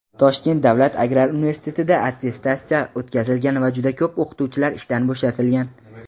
Toshkent davlat agrar universitetida attestatsiya o‘tkazilgan va juda ko‘p o‘qituvchilar ishdan bo‘shatilgan.